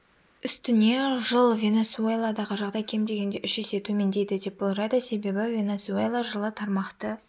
үстіне жылы венесуэладағы жағдай кем дегенде үш есе төмендейді деп болжайды себебі венесуэла жылы тармақты